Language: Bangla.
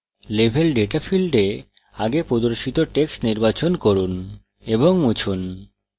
level ডেটা ফীল্ডে আগে প্রদর্শিত text নির্বাচন করুন এবং মুছুন